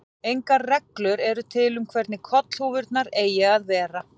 Engar reglur eru til um hvernig kollhúfurnar eigi að vera.